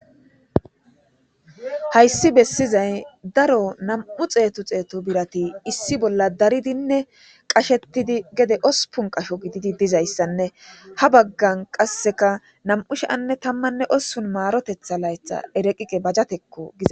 Haysi besizay daro nam'u xetu xetu birati issi bolla daridine shetidi gede ospun qasho gididi dizaysane ha bagan qaseka nam'u 2018 marotetha laytha reqiqi bajati gizay